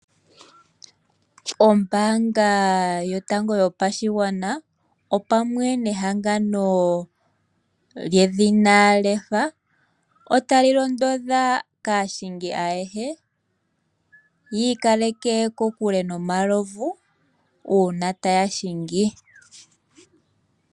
Ombaanga yotango yopashigwana opamwe nehangano lyedhina Lefa otali londodha aahingi ayehe. Yiikaleke kokule nomalovu uuna taya hingi.